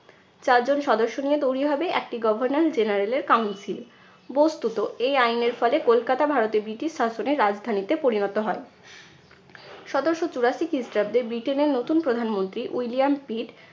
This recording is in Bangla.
চারজন সদস্য নিয়ে তৈরি হবে একটি governor general এর council বস্তুত এই আইনের ফলে কলকাতা ভারতের ব্রিটিশ শাসনের রাজধানীতে পরিণত হয়। সতেরশো চুরাশি খ্রিস্টাব্দে ব্রিটেনের নতুন প্রধানমন্ত্রী উইলিয়াম পিট